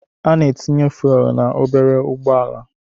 Ana etinye fuelu na obere ụgbọala.